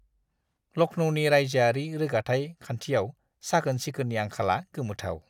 लखनौनि रायजोआरि रोगाथाइ खान्थियाव साखोन-सिखोननि आंखाला गोमोथाव।